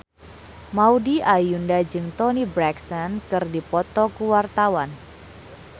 Maudy Ayunda jeung Toni Brexton keur dipoto ku wartawan